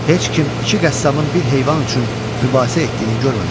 Heç kim iki qəssabın bir heyvan üçün mübahisə etdiyini görməmişdi.